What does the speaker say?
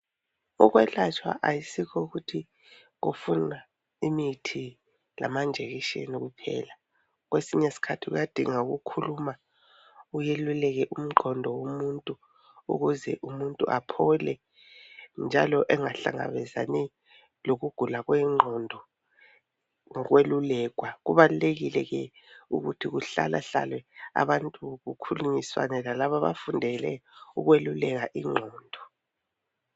Ukwelatshwa ayisikho ukuthi kufuna imithi lamanjekishini kuphela . Kwesinye sikhathi kuyadinga ukukhuluma kweluleke umqondo womuntu ukuze umuntu aphole njalo engahlangabezani lokugula kwengqondo ngokwelulekwa. Kubalulekile ke ukuthi kuhlalahlale abantu kukhulunyiswane lalaba abafundele ukweluleka ingqondo.